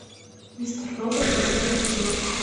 мистер робот восьмой эпизод